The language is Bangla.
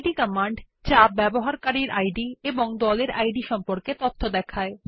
ইদ কমান্ড যা উসের ইদ এবং গ্রুপ ইদ সম্পর্কে তথ্য দেয়